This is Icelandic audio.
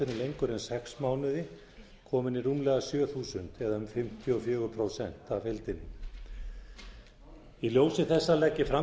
lengur en sex mánuði kominn í rúmlega sjö þúsund eða um fimmtíu og fjögur prósent af heildinni í ljósi þessa legg ég fram